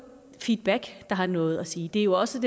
feedback der har noget at sige det er jo også